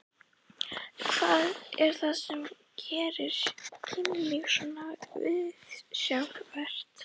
Hvað er það sem gerir kynlíf svona viðsjárvert?